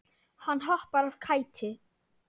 Hann hoppar af kæti.